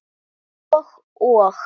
Og, og.